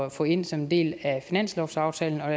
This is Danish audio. at få ind som en del af finanslovsaftalen og